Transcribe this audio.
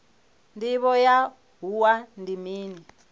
ndivho ya wua ndi mini